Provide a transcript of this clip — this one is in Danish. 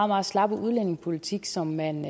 meget slappe udlændingepolitik som man